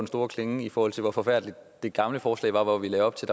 store klinge i forhold til hvor forfærdeligt det gamle forslag var hvor vi lagde op til